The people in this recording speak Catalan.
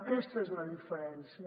aquesta és la diferència